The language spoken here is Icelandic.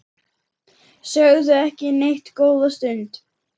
Sögðu ekki neitt góða stund.